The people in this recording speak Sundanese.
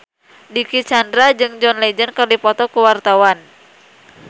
Dicky Chandra jeung John Legend keur dipoto ku wartawan